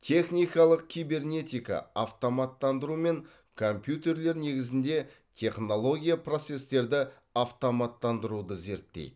техникалық кибернетика автоматтандыру мен компьютерлер негізінде технология процестерді автоматтандыруды зерттейді